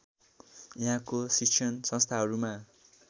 यहाँको शिक्षण संस्थाहरूमा